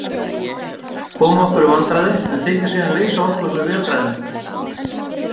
Koma okkur í vandræði en þykjast síðan leysa okkur með vélræðum.